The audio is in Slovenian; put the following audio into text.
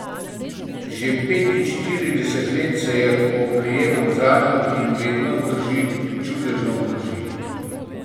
Že petinštirideset let se je oprijemam zanjo in vedno vzdrži, čudežno vzdrži.